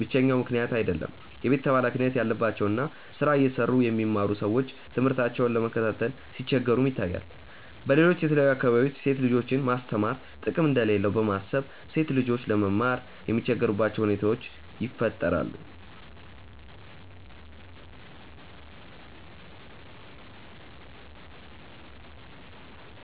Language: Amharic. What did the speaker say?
ብቸኛው ምክንያት አይደለም። የቤተሰብ ሀላፊነት ያለባቸው እና ስራ እየሰሩ የሚማሩ ሰዎች ትምህርታቸውን ለመከታተል ሲቸገሩም ይታያል። በሌሎች የተለያዩ አካባቢዎች ሴት ልጆችን ማስተማር ጥቅም እንደሌለው በማሰብ ሴት ልጆች ለመማር የሚቸገሩባቸው ሁኔታዎች ይፈጠራሉ።